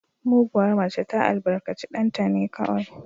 Muguwar mace ta albarkaci ɗanta ne kaɗai